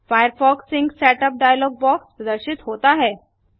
Firefox sync setup dialog box प्रदर्शित होता है